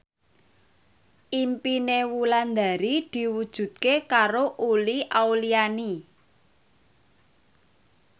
impine Wulandari diwujudke karo Uli Auliani